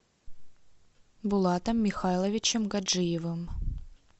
булатом михайловичем гаджиевым